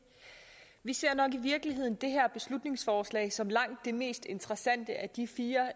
vi ser nok i virkeligheden det her beslutningsforslag som langt det mest interessante af de fire